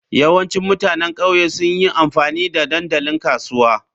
Yawancin mutanen ƙauye sun yi amfani da dandalin kasuwa.